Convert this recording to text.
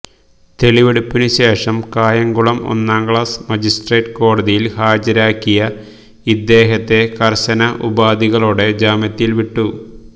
തെളിവെടുപ്പിനുശേഷം കായംകുളം ഒന്നാംക്ലാസ് മജിസ്ട്രേറ്റ് കോടതിയില് ഹാജരാക്കിയ ഇദ്ദേഹത്തെ കര്ശന ഉപാധികളോടെ ജാമ്യത്തില് വിട്ടു